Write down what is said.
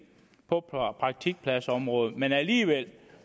på praktikpladsområdet men alligevel